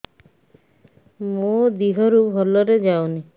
ମୋ ଦିହରୁ ଭଲରେ ଯାଉନି